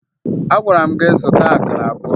Agwara m gị zụta akara abụọ!